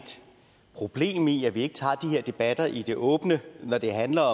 problem i at vi ikke tager de her debatter i det åbne når det handler